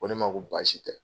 Ko ne ma ko baasi tɛ.